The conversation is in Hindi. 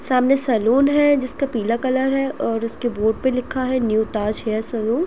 सामने सैलून है। जिसका पीला कलर हैं और उसके बोर्ड पे लिखा है न्यू ताज हेयर सैलून ।